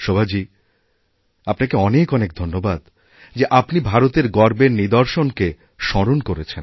শোভাজী আপনাকে অনেক অনেক ধন্যবাদযে আপনি ভারতের গর্বের নিদর্শনকে স্মরণ করেছেন